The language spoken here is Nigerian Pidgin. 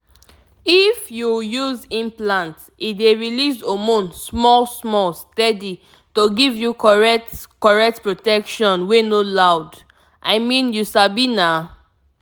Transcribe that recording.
if you use implant e dey release hormone small-small steady to give you correct correct protection wey no loud.i mean you sabi na.